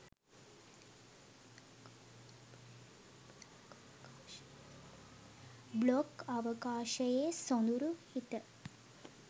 blog අවකාශයේ සොඳුරු හිත